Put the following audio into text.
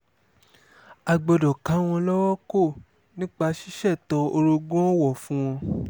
a gbọ́dọ̀ ká wọn lọ́wọ́ kò nípa ṣíṣètò orogún-ọ̀wọ̀ fún wọn